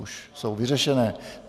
Už je vyřešený.